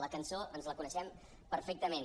la cançó ens la coneixem perfectament